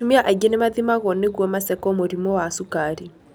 Atumia aingĩ nĩ mathimagwo nĩguo maceko mũrimũ wa sukari